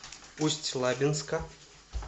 усть лабинска